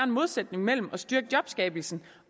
modsætning mellem at styrke jobskabelsen